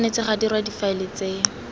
tshwanetse ga dirwa difaele tse